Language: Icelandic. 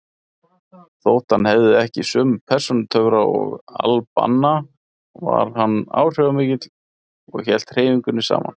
Þótt hann hefði ekki sömu persónutöfra og al-Banna var hann áhrifamikill og hélt hreyfingunni saman.